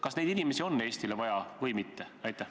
Kas neid inimesi on Eestile vaja või mitte?